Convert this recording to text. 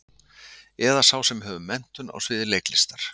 Eða sá sem hefur menntun á sviði leiklistar?